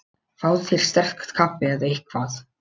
Fáðu þér sterkt kaffi eða eitthvað.